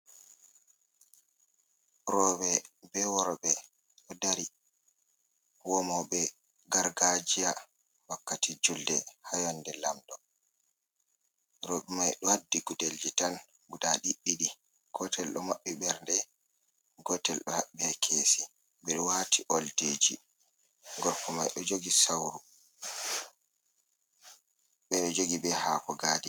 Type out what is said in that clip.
Rowɓe be worɓe ɗo dari womo be gargajia wakkati julde ha yonde Lamɗo. Rowɓe mai ɗo haddi gudelji tan guda ɗiɗɗiɗi gotel ɗo maɓɓi bernde gotel be kesi ɓe ɗo wati oldiji gorko mai ɗo jogi sauru ɓe ɗo jogi be hako gadina.